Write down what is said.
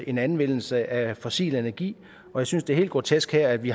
en anvendelse af fossil energi jeg synes det er helt grotesk at vi